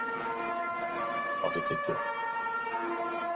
Eivör, áttu tyggjó?